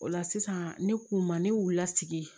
O la sisan ne k'u ma ne wilila sigi